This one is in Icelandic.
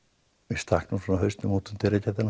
ég stakk nú svona hausnum útum dyragættina